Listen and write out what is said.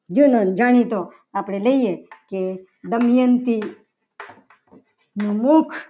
જૂનો અને જાણીતો આપણે લઈએ. કે દમયંતી નું મુખ